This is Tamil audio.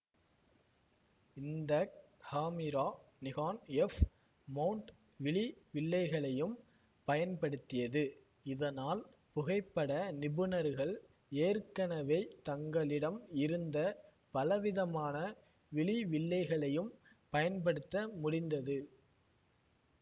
இந்த காமிரா நிகான்எஃப் மௌண்ட் விழி வில்லைகளையும் பயன்படுத்தியது இதனால் புகைப்பட நிபுணர்கள் ஏற்கனவே தங்களிடம் இருந்த பலவிதமான விழி வில்லைகளையும் பயன்படுத்த முடிந்தது